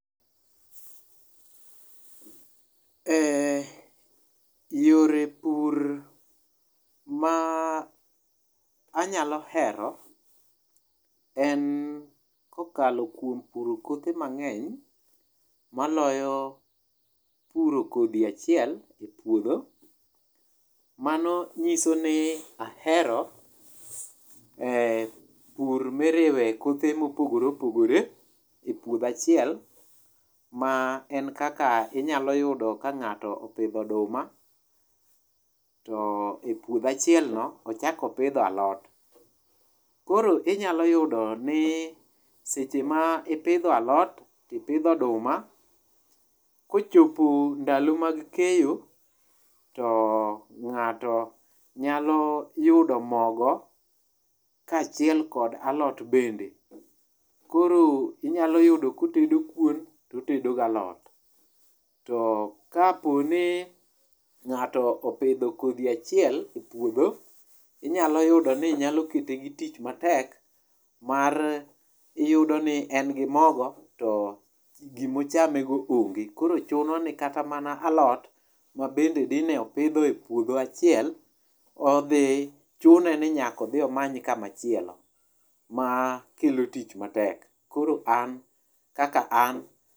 e yore pur ma anyalo ero en kokalo kuom puro kothe mang'eny, moloyo puro kodhi achiel e puodho. Mano nyiso ni ahero pur miriwe kothe mopogore opogore e puodho achiel ma en kaka inyalo yudo ka ng'ato opidho oduma to e puodho achielno ochak opidhe alot . Koro Inyalo yudo ni seche ma ipidho alot tipidho oduma kochopo ndalo mag keyo ng'ato nyalo yudo mogo kaachiel kod alot bende. Koro inyalo yudo kotedo kuon totedo galot to kapo ni ng'ato opidho kodhi achiel e puodho inyalo yudo ni nyalo kete gi tich matek mar iyudo ni en gi mogo to gimochame go onge koro chuno ni kata mana alot ma bende dine opidho e puodho achiel odhi chune ni nyaka odhi omany kama chielo makelo tich matek koro an kaka an.